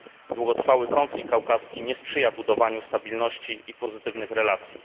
Długotrwały konflikt kaukaski nie sprzyja budowaniu stabilności i pozytywnych relacji.